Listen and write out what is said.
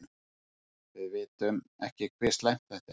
Við vitum ekki hve slæmt þetta er.